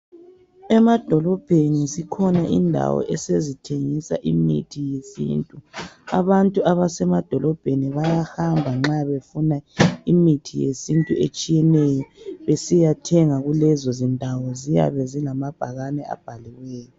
Emadolobheni zikhona indawo esezithengisa imithi yesintu. Abantu abasemadolobheni bayahamba nxa befuna imithi yesintu etshiyeneyo besiyathenga kulezo zindawo. Ziyabe zilamabhakane abhaliweyo.